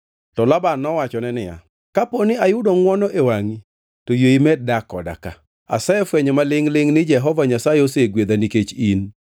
To Laban nowachone niya, “Kapo ni ayudo ngʼwono e wangʼi to yie imed dak koda ka. Asefwenyo ma lingʼ-lingʼ ni Jehova Nyasaye osegwedha nikech in.”